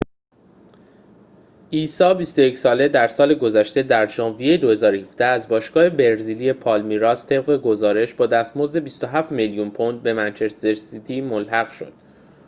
عیسی ۲۱ ساله در سال گذشته در ژانویه ۲۰۱۷ از باشگاه برزیلی پالمیراس طبق گزارش با دستمزد ۲۷ میلیون پوند به منچستر سیتی ملحق شد